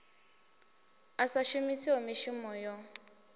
a sa shumiho mishumo yo